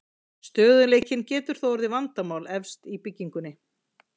Stöðugleikinn getur þó orðið vandamál efst í byggingunni.